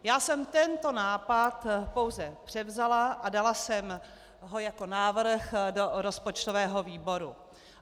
Já jsem tento nápad pouze převzala a dala jsem ho jako návrh do rozpočtového výboru.